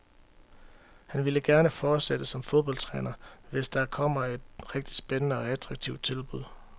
Han vil gerne fortsætte som fodboldtræner, hvis der kommer et rigtig spændende og attraktivt tilbud.